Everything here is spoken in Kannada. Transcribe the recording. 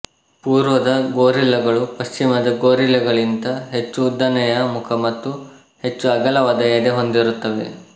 ಪೂರ್ವದ ಗೊರಿಲ್ಲಗಳು ಪಶ್ಚಿಮದ ಗೊರಿಲ್ಲಗಳಿಗಿಂತ ಹೆಚ್ಚು ಉದ್ದನೆಯ ಮುಖ ಮತ್ತು ಹೆಚ್ಚು ಅಗಲವಾದ ಎದೆ ಹೊಂದಿರುತ್ತವೆ